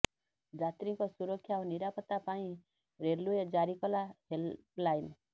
ଯାତ୍ରୀଙ୍କ ସୁରକ୍ଷା ଓ ନିରାପତ୍ତା ପାଇଁ ରେଲୱେ ଜାରିକଲା ହେଲ୍ପ ଲାଇନ୍